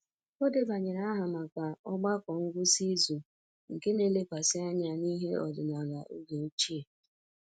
O debanyere aha maka ogbako ngwụsị izu nke na-elekwasị anya n'ihe ọdịnala oge ochie